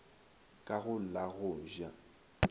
ka go la go ja